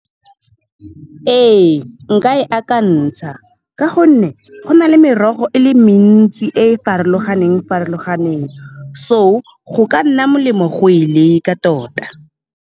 Ee, nka e akantsha ka gonne, go na le merogo e le mentsi e e farologaneng-farologaneng, so go ka nna molemo go e leka tota.